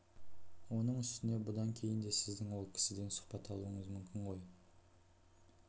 оның үстіне бұдан кейін де сіздің ол кісіден сұхбат алуыңыз мүмкін ғой